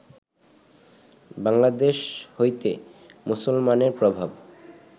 বাংলাদেশ হইতে মুসলমানের প্রভাব